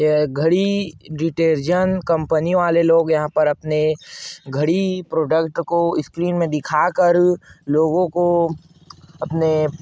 यह Ghadi detergent company वाले लोग यहाँ पर अपने घड़ी प्रोडक्ट को स्क्रीन में दिखाकर लोगों को अपने--